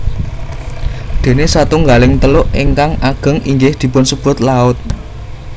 Déné satunggaling teluk ingkang ageng inggih dipunsebut laut